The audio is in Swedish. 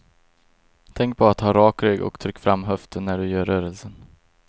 Tänk på att ha rak rygg och tryck fram höften när du gör rörelsen.